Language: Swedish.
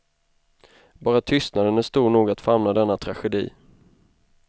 Bara tystnaden är stor nog att famna denna tragedi.